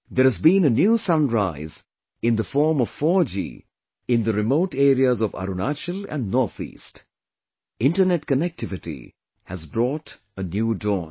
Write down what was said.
There has been a new sunrise in the form of 4G in the remote areas of Arunachal and North East; internet connectivity has brought a new dawn